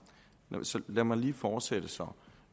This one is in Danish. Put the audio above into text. lad mig lige fortsætte så